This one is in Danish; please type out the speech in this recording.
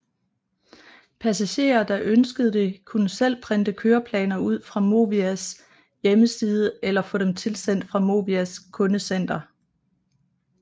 Passagerer der ønskede det kunne selv printe køreplaner ud fra Movias hjemmeside eller få dem tilsendt fra Movias kundecenter